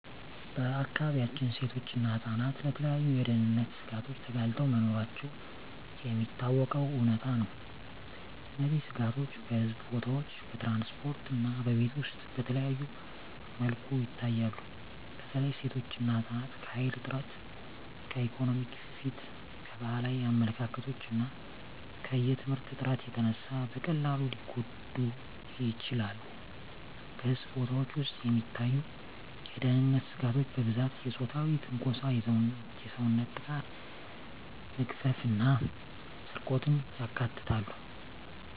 በአካባቢያችን ሴቶችና ህፃናት ለተለያዩ የደህንነት ስጋቶች ተጋልጠው መኖራቸው የሚታወቀው እውነታ ነው። እነዚህ ስጋቶች በሕዝብ ቦታዎች፣ በትራንስፖርት እና በቤት ውስጥ በተለያዩ መልኩ ይታያሉ። በተለይ ሴቶችና ህፃናት ከኃይል እጥረት፣ ከኢኮኖሚ ግፊት፣ ከባህላዊ አመለካከቶች እና ከየትምህርት እጥረት የተነሳ በቀላሉ ሊጎዱ ይችላሉ። በሕዝብ ቦታዎች ውስጥ የሚታዩ የደህንነት ስጋቶች በብዛት የፆታዊ ትንኮሳ፣ የሰውነት ጥቃት፣ መግፈፍ እና ስርቆትን ያካትታሉ።